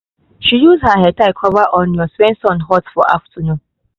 she use her headtie cover onions when sun hot for afternoon